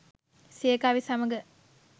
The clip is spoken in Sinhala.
සිය කවි සමඟ